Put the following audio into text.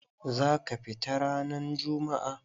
Za ka fita ranan jummu'a?